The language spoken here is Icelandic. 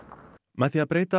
með því að breyta